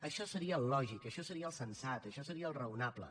això seria el lògic això seria el sensat això seria el raonable